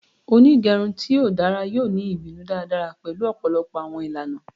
Onigerun ti o dara yoo ni ibinu daradara pẹlu ọpọlọpọ awọn ilana